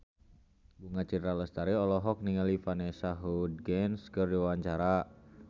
Bunga Citra Lestari olohok ningali Vanessa Hudgens keur diwawancara